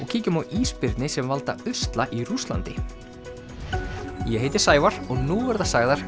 kíkjum á ísbirni sem valda usla í Rússlandi ég heiti Sævar og nú verða sagðar